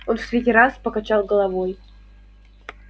он в третий раз покачал головой